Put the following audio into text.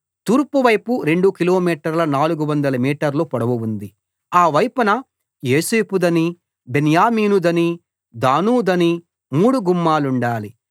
తూర్పు వైపు 2 కిలోమీటర్ల 400 మీటర్ల పొడవు ఉంది ఆ వైపున యోసేపుదనీ బెన్యామీనుదనీ దానుదనీ మూడు గుమ్మాలుండాలి